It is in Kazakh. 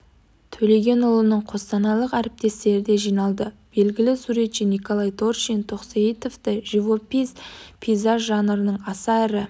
төлеген ұлының қостанайлық әріптестері де жиналды белгілі суретші николай торшин тоқсейітовты живопись пейзаж жанрының аса ірі